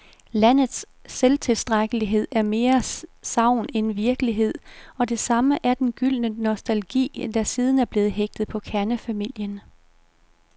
Landets selvtilstrækkelighed er mere sagn end virkelighed, og det samme er den gyldne nostalgi, der siden er blevet hægtet på kernefamilien.